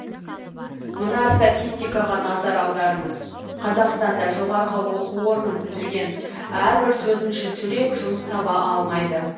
мына статистикаға назар аударыңыз қазақстанда жоғарғы оқу орнын бітірген әрбір төртінші түлек жұмыс таба алмайды